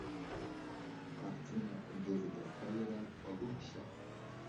картина дэвида эйра лучше